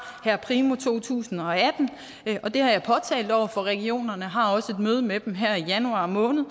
her primo to tusind og atten og det har jeg påtalt over for regionerne jeg har også et møde med dem her i januar måned